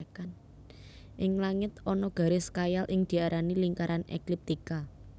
Ing langit ana garis khayal sing diarani lingkaran ekliptika